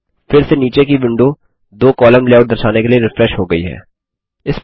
फिर से नीचे की विंडो दो कॉलम लेआउट दर्शाने के लिए रिफ्रेश हो गई है